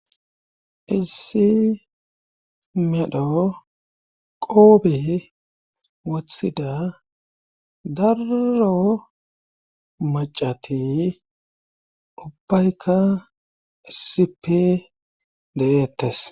Isi medho qoobe wothida darro macati ubbaykka isipe de7eetes.